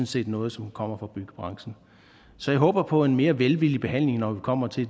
set noget som kommer fra byggebranchen så jeg håber på en mere velvillig behandling når vi kommer til